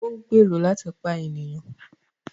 O n gbèrò láti pa ènìyàn